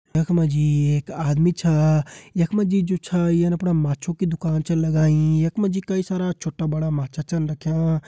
यख मा जी एक आदमी छा यख मा जी जू छा यीण अपणा माछु की दुकान छा लगाईं यख मा जी कई सारा छोटा बड़ा माछा छन रख्यां।